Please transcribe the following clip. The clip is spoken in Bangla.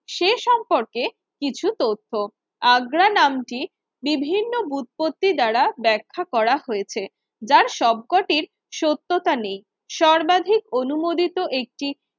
সম্পর্কে কিছু তথ্য আগ্রা নাম কি বিভিন্ন বুৎপত্তি দ্বারা ব্যাখ্যা করা হয়েছে যার শবকটির সত্যতা নেই, সর্বাধিক অনুমোদিত একটি